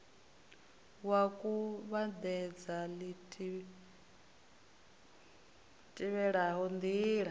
wa kuvhatedza li tevhelaho ndila